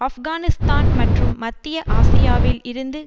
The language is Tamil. ஆப்கானிஸ்தான் மற்றும் மத்திய ஆசியாவில் இருந்து